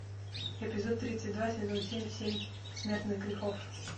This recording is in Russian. эпизод тридцать два сезон семь семь смертных грехов